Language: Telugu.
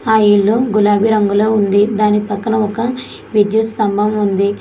ఆ ఇల్లు గులాబీ రంగులో ఉంది దాని పక్కన ఒక విద్యుత్ స్తంభం ఉంది.